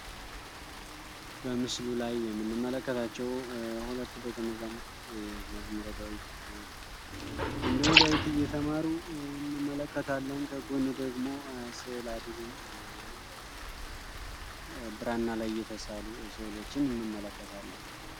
በምስሉ ላይ የምንመለከታቸው ሁለት ደቀመዛሙርት መዝሙረ ዳዊት እንዲሁም ዳዊት እየተማሩ እንመለከታለን ከጎን ደግሞ ስላድኖ ወይንም ደግሞ ብራና ላይ የተሳሉ ስዕሎችን እንመለከታለን።